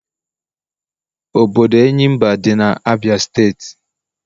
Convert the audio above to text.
Obodo Enyimba di na Abia state.